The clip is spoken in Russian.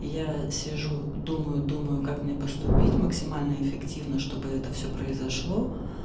я сижу думаю думаю как мне поступить максимально эффективно чтобы это всё произошло